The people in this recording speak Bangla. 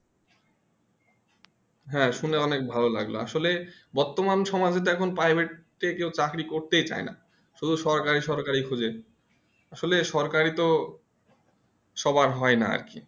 হ্যাঁ শুনে অনেক ভালো লাগলো আসলে বর্তমান সমাজে তো এখন Private তে কেউ চাকরি করতে চাই না শুধু সরকারি সরকারি খুঁজে আসলে সরকারি তো সবার হয় না আর কি